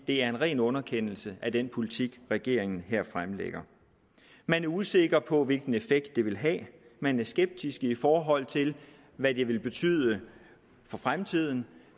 det er en ren underkendelse af den politik regeringen her fremlægger man er usikker på hvilken effekt det vil have man er skeptisk i forhold til hvad det vil betyde for fremtiden